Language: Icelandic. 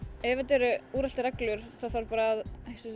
ef þetta eru úreltar reglur þá þarf bara að